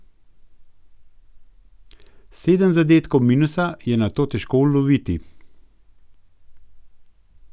Sedem zadetkov minusa je nato težko loviti.